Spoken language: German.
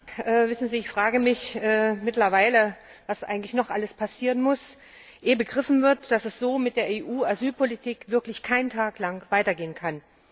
Herr Präsident! Ich frage mich mittlerweile, was eigentlich noch alles passieren muss, ehe begriffen wird, dass es so mit der EU Asylpolitik wirklich keinen Tag lang weitergehen kann.